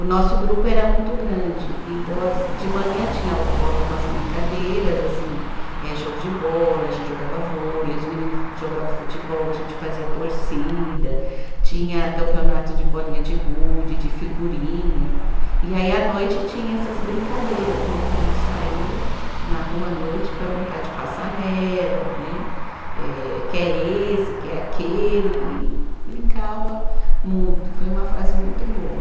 O nosso grupo era muito grande, então as, de manhã tinha algumas brincadeiras, assim, eh jogo de bola, a gente jogava vôlei, os menino jogava futebol, a gente fazia torcida, tinha campeonato de bolinha de gude, de figurinha, e aí à noite tinha essas brincadeiras, né, que a gente saía na rua à noite para brincar de passa anel, né, que é esse, que é aquele, e e brincava muito, foi uma fase muito boa.